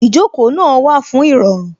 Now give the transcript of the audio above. Ìjókòó náà wà fún Ìrọ̀rùn